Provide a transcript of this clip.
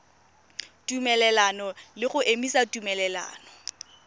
tumelelano le go emisa tumelelano